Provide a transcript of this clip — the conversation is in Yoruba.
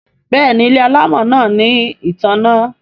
Béèni ile alamò náa ní ìtanná.